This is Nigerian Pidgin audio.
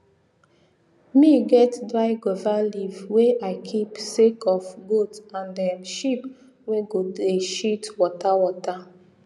me get dry guava leaf wey i keep sake of goat and um sheep wey go dey shit water water